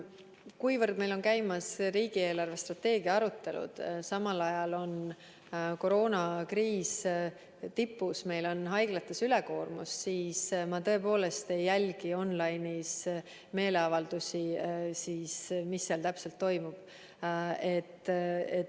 Kuivõrd meil on käimas riigi eelarvestrateegia arutelud, samal ajal on koroonakriis tipus, meil on haiglates ülekoormus, siis ma tõepoolest ei jälgi on-line'is meeleavaldusi ja seda, mis seal täpselt toimub.